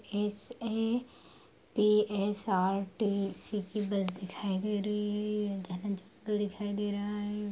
SATSRT city bus दिखाई दे रही है दिखाई दे रहा है ।